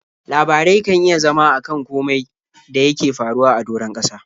Labarai kan iya zama a kan komai da yake faruwa a doron ƙasa.